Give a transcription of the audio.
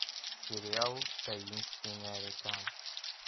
сериал таинственная река